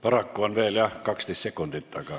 Paraku on veel, jah, 12 sekundit, aga ...